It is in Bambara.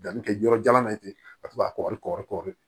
Danni kɛ yɔrɔ jalan na ye ten ka to ka kɔri